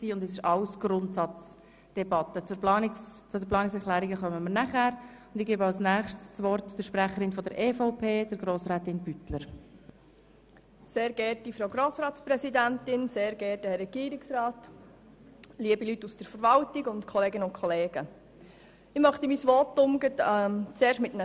Wir hatten bisher ausschliesslich Grundsatzvoten, setzen nun die Fraktionsvoten fort und kommen anschliessend zu den Planungserklärungen.